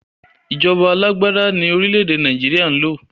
Ìjọba alàgbàda ní orílẹ̀ èdè Nàìjíríà ń lò